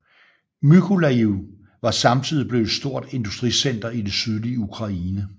Mykolajiv var samtidig blevet et stort industricenter i det sydlige Ukraine